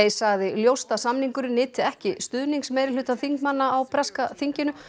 sagði ljóst að samningurinn nyti ekki stuðnings meirihluta þingmanna á breska þinginu